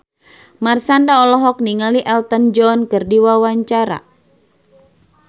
Marshanda olohok ningali Elton John keur diwawancara